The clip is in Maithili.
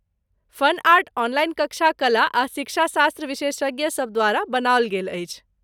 फन आर्ट ऑनलाइन कक्षा कला आ शिक्षाशास्त्र विशेषज्ञ सभ द्वारा बनाओल गेल अछि।